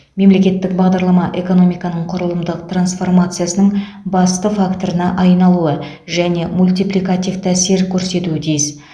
мемлекеттік бағдарлама экономиканың құрылымдық трансформациясының басты факторына айналуы және мультипликативті әсер көрсетуі тиіс